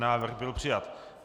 Návrh byl přijat.